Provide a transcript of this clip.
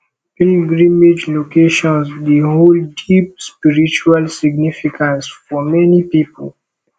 pilgrimage locations dey hold deep spiritual significance for many people